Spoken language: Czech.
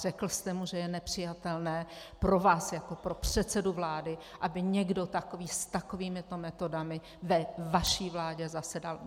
Řekl jste mu, že je nepřijatelné pro vás jako pro předsedu vlády, aby někdo takový s takovýmito metodami ve vaší vládě zasedal?